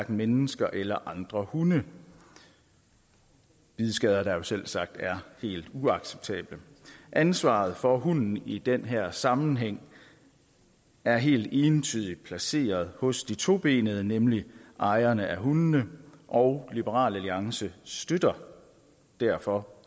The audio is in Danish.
mennesker eller andre hunde bidskader der jo selvsagt er helt uacceptable ansvaret for hunden i den her sammenhæng er helt entydigt placeret hos de tobenede nemlig ejerne af hundene og liberal alliance støtter derfor